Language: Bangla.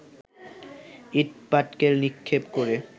ইট পাটকেল নিক্ষেপ করে